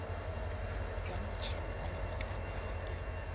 ya motšhelo wa lebakanyana e